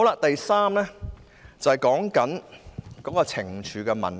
第三方面是懲處的問題。